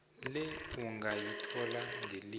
le ungayithola ngelimi